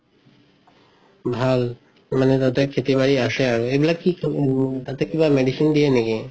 ভাল। মানে তাতে খেতি বাৰি আছে আৰু সেইবিলাক তাতে কিবা medicine দিয়ে নেকি?